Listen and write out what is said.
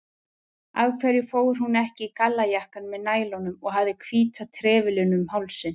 Af hverju fór hún ekki í gallajakkann með nælunum og hafði hvíta trefilinn um hálsinn?